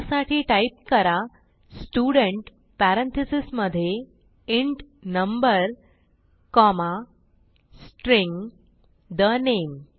त्यासाठी टाईप करा student parentheses मधे int number comma string the name